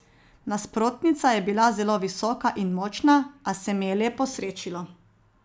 Nasprotnica je bila zelo visoka in močna, a se mi je le posrečilo.